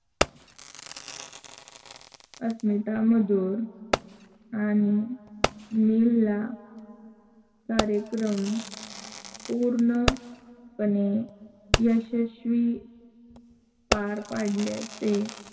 अस्मिता मधुर आणि नीलला कार्यकम पूर्णपणे यशश्वी पार पडल्याचे